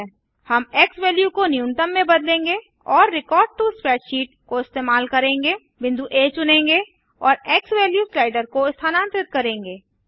हम x value को न्यूनतम में बदलेंगे और रेकॉर्ड टो स्प्रेडशीट को इस्तेमाल करेंगे बिंदु आ चुनेंगे और एक्सवैल्यू स्लाइडर को स्थानांतरित करेंगे